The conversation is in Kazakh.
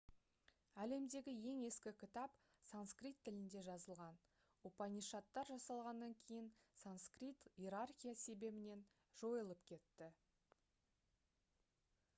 әлемдегі ең ескі кітап санскрит тілінде жазылған упанишадтар жасалғаннан кейін санскрит иерархия себебінен жойылып кетті